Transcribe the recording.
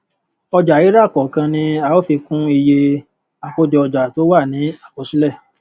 ọjàrírà kọọkan ni a ó fi kún iye àkójọọjà tó ti wà ní àkọsílẹ